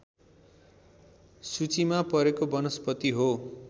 सूचीमा परेको वनस्पति हो